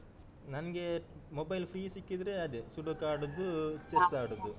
ನನ್ಗೆ mobile free ಸಿಕ್ಕಿದ್ರೆ ಅದೇ sudoku ಆಡುದು chess ಆಡುದು.